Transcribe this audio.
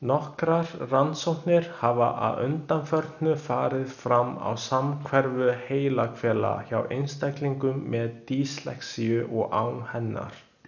Nokkrar rannsóknir hafa að undanförnu farið fram á samhverfu heilahvela hjá einstaklingum með dyslexíu og án hennar.